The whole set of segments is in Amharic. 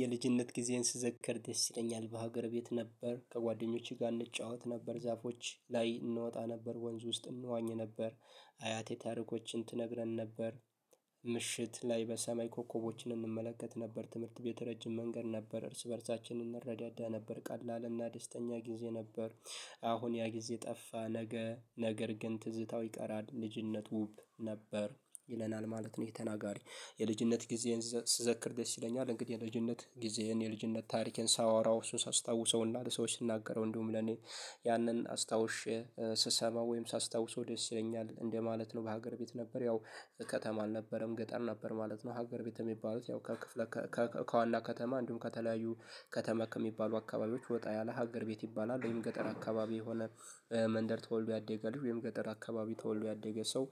የልጅነት ጊዜን ስዘከር ደስ ይለኛል በሀገር ቤት ነበር ከጓደኞቼ ጋር እንጫወት ነበር ዛፎች ላይ እንወጣ ነበር ወንዝ ውስጥ እንዋኝ ነበር። አያቴ ታሪኮችን ትነግረን ነበር። ምሽት ላይ በሰማይ ኮከቦችን እንመለከት ነበር ትምህርት ቤት ረጅም መንገድ ነበር እርስ በእርሳችን እንረዳዳ ነበር ቀላልና ደስተኛ ጊዜ ነበር። አሁን ያ ጊዜ ጠፋ ነገ ነገር ግን ትዝታው ይቀራል ልጅነት ውብ ነበር። ይለናል ማለት ነው። ይሄ ተናጋሪ። የልጅነት ጊዜን ስዘክር ደስ ይለኛል እንግዲህ የልጅነት ጊዜህን የልጅነት ታሪኬን ሳወራው እሱን ሳስታውሰውና ለሰዎች ስናገረው እንዲሁም ለኔ ያንን አስታውሼ ስሰማ ወይም ሳስታውሰው ደስ ይለኛል እንደማለት ነው። በሀገር ቤት ነበር ያው ከተማ አልነበረም ገጠር ነበር ማለት ነው። ሀገር ቤት የሚባሉት ያው ከክፍለ ከዋና ከተማ እንዲሁም ከተለያዩ ከተማ ከሚባሉ አካባቢዎች ወጣ ያለ ሀገር ቤት ይባላል ወይም ገጠር አካባቢ የሆነ መንደር ተወልዶ ያደገ ልጅ ወይም ገጠር አካባቢ ተወልዶ ያደገ ሰው።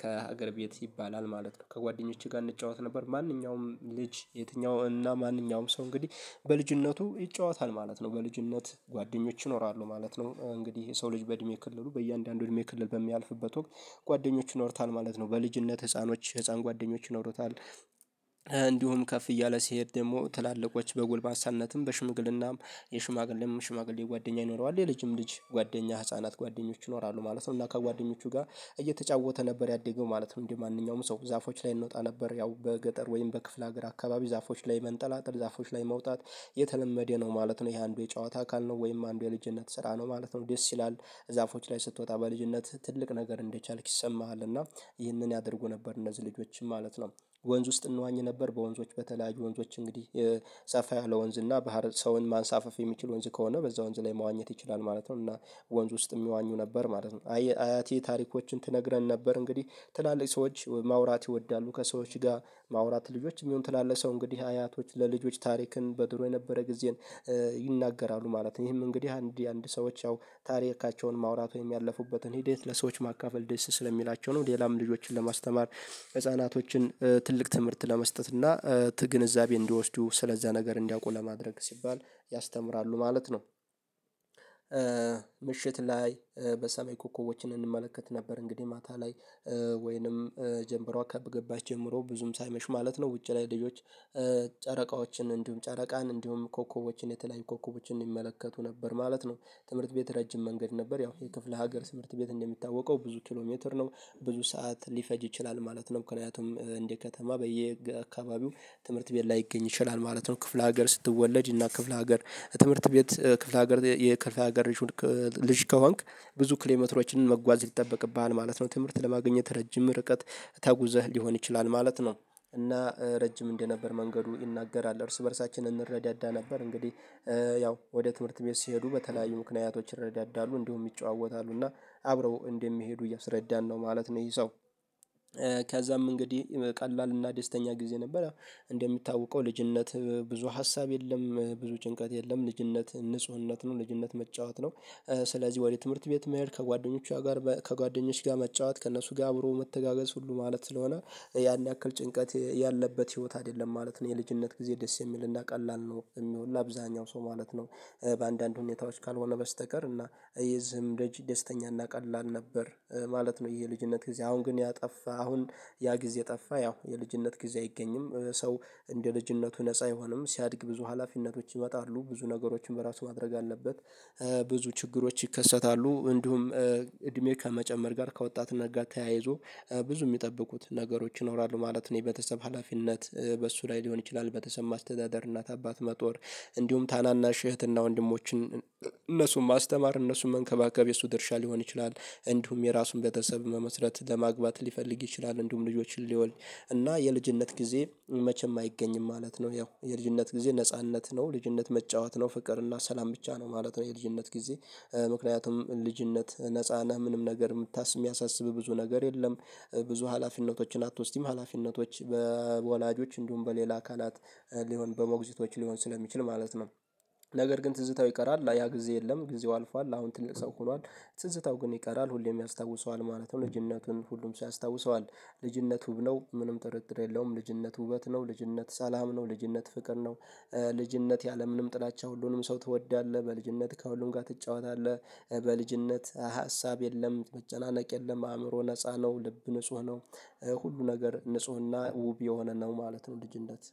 ከሀገር ቤት ይባላል ማለት ነው። ከጓደኞቼ ጋር እንጫወት ነበር ማንኛውም ልጅ የትኛው እና ማንኛውም ሰው እንግዲህ በልጅነቱ ይጫወታል ማለት ነው። በልጅነት ጓደኞች ይኖራሉ ማለት ነው። እንግዲህ የሰው ልጅ በእድሜ ክልሉ በእያንዳንዱ እድሜ ክልል በሚያልፍበት ወቅት ጓደኞች ይኖሩታል ማለት ነው በልጅነት ህፃኖች ህፃን ጓደኞች ይኖሩታል። እንዲሁም ከፍ እያለ ሲሄድ ደግሞ ትላልቆች በጉልማሳነትም በሽምግልናም የሽማግሌም ሽማግሌ ጓደኛ ይኖረዋል የልጅም ልጅ ጓደኛ ህፃናት ጓደኞች ይኖራሉ ማለት ነው። እና ከጓደኞቹ ጋር እየተጫወተ ነበር ያደገው ማለት ነው። እንዴ? ማንኛውም ሰው ዛፎች ላይ እንወጣ ነበር ያው በገጠር ወይም በክፍለ ሀገር አካባቢ ዛፎች ላይ መንጠላጠል ዛፎች ላይ መውጣት የተለመደ ነው ማለት ነው። ይሄ አንዱ የጨዋታ አካል ነው ወይም አንዱ የልጅነት ስራ ነው ማለት ነው። ደስ ይላል ዛፎች ላይ ስትወጣ በልጅነት ትልቅ ነገር እንደቻልክ ይሰማሃል እና ይህንን ያደርጉ ነበር እነዚህ ልጆችንም ማለት ነው። ወንዝ ውስጥ እንዋኝ ነበር በወንዞች በተለያዩ ወንዞች እንግዲህ የሰፋ ያለ ወንዝ እና ባህር ሰውን ማንሳፈፍ የሚችል ወንዝ ከሆነ በዛ ወንዝ ላይ መዋኘት ይችላል ማለት ነው። እና ወንዝ ውስጥ የሚዋኙ ነበር ማለት ነው። አያት ታሪኮችን ትነግረን ነበር እንግዲህ ትላልቅ ሰዎች ማውራት ይወዳሉ ከሰዎች ጋር ማውራት ልጆች የሚሆን ትላለቅ ሰው እንግዲህ አያቶች ለልጆች ታሪክን በድሮ የነበረ ጊዜን ይናገራሉ ማለት ነው። ይሄም እንግዲህ አንድ አንድ ሰዎች ያው ታሪካቸውን ማውራት ወይም ያለፉበትን ሂደት ለሰዎች ማካፈል ደስ ስለሚላቸው ነው ሌላም ልጆችን ለማስተማር ህፃናቶችን ትልቅ ትምህርት ለመስጠት እና ት ግንዛቤ እንዲወስዱ ስለዛ ነገር እንዲያውቁ ለማድረግ ሲባል ያስተምራሉ ማለት ነው። ምሽት ላይ በሰሜን ኮከቦችን እንመለከት ነበር እንግዲህ ማታ ላይ ወይንም ጀምበሮ ከገባች ጀምሮ ብዙም ሳይመሽ ማለት ነው ውጪ ላይ ልጆች ጨረቃዎችን እንዲሁም ጨረቃን እንዲሁም ኮከቦችን የተለያዩ ኮከቦችን ይመለከቱ ነበር ማለት ነው። ትምህርት ቤት ረጅም መንገድ ነበር ያው የክፍለ ሀገር ትምህርት ቤት እንደሚታወቀው ብዙ ኪሎ ሜትር ነው ብዙ ሰዓት ሊፈጅ ይችላል ማለት ነው። ምክንያቱም እንደ ከተማ በየአካባቢው ትምህርት ቤት ላይገኝ ይችላል ማለት ነው። ክፍለ ሀገር ስትወለድ እና ክፍለ ሀገር ትምህርት ቤት ክፍለ ሀገር የክፍለ ሀገር ልጅ ከሆንክ ብዙ ኪሎ ሜትሮችን መጓዝ ይጠበቅብሃል ማለት ነው። ትምህርት ለማግኘት ረጅም ርቀት ተጉዘህ ሊሆን ይችላል ማለት ነው። እና ረጅም እንደነበር መንገዱ ይናገራል እርስ በእርሳችን እንረዳዳ ነበር እንግዲህ ያው ወደ ትምህርት ቤት ሲሄዱ በተለያዩ ምክንያቶች ይረዳዳሉ እንደውም ይጨዋወታሉና አብረው እንደሚሄዱ ያስረዳን ነው ማለት ነው። ይሄ ሰው ከዛም እንግዲህ ቀላል እና ደስተኛ ጊዜ ነበረ። እንደሚታወቀው ልጅነት ብዙ ሀሳብ የለም ብዙ ጭንቀት የለም ልጅነት ንፁህነት ነው ልጅነት መጫወት ነው። ስለዚህ ወደ ትምህርት ቤት መሄድ ከጓደኞቿ ጋር ከጓደኞች ጋር መጫወት ከእነሱ ጋር አብሮ መተጋገስ ሁሉ ማለት ስለሆነ ያን ያክል ጭንቀት ያለበት ህይወት አይደለም ማለት ነው። የልጅነት ጊዜ ደስ የሚልና ቀላል ነው የሚሆነው ለአብዛኛው ሰው ማለት ነው። በአንዳንድ ሁኔታዎች ካልሆነ በስተቀር እና ይሄ ዝም ደጅ ደስተኛ ቀላል ነበር ማለት ነው። ይሄ ልጅነት ጊዜ አሁን ግን ያጠፋ አሁን ያ ጊዜ ጠፋ ያው የልጅነት ጊዜ አይገኝም ሰው እንደ ልጅነቱ ነፃ አይሆንም ሲያድግ ብዙ ሀላፊነቶች ይመጣሉ ብዙ ነገሮችን በራሱ ማድረግ አለበት። ብዙ ችግሮች ይከሰታሉ እንዲሁም እድሜ ከመጨመር ጋር ከወጣት ነገር ተያይዞ ብዙ የሚጠብቁት ነገሮች ይኖራሉ ማለት ነው። የቤተሰብ ሀላፊነት በሱ ላይ ሊሆን ይችላል ቤተሰብ ማስተዳደር እናት አባት መጦር እንዲሁም ታናናሽ እህትና ወንድሞችን እነሱን ማስተማር እነሱም መንከባከብ የእሱ ድርሻ ሊሆን ይችላል። እንዲሁም የራሱን ቤተሰብ መመስረት ለማግባት ሊፈልግ ይችላል እንዲሁም ልጆችን ሊወልድ እና የልጅነት ጊዜ መቼም አይገኝም ማለት ነው። ያው የልጅነት ጊዜ ነጻነት ነው ልጅነት መጫወት ነው ፍቅር እና ሰላም ብቻ ነው ማለት ነው። የልጅነት ጊዜ ምክንያቱም ልጅነት ነፃ ነህ ምንም ነገር የምታስብ የሚያሳስብ ብዙ ነገር የለም። ብዙ ሀላፊነቶችን አትወስድም ሀላፊነቶች በወላጆች እንዲሁም በሌላ አካላት ሊሆን በሞግዚቶች ሊሆን ስለሚችል ማለት ነው። ነገር ግን ትዝታው ይቀራል ያ ጊዜ የለም ጊዜው አልፏል አሁን ትንቅ ሰው ሆኗል ትዝታው ግን ይቀራል ሁሌም ያስታውሰዋል ማለትም ልጅነቱን ሁሉም ሰው ያስታውሰዋል። ልጅነት ውብ ነው ምንም ጥርጥር የለውም ልጅነት ውበት ነው ልጅነት ሰላም ነው ልጅነት ፍቅር ነው። ልጅነት ያለምንም ጥላቻ ሁሉንም ሰው ትወዳለህ በልጅነት ከሁሉም ጋር ትጫወታለህ። በልጅነት ሀሳብ የለም መጨናነቅ የለም አእምሮ ነፃ ነው ልብ ንጹህ ነው። ሁሉ ነገር ንፁህና ውብ የሆነ ነው ማለት ነው። ልጅነት